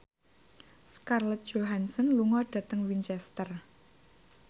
Scarlett Johansson lunga dhateng Winchester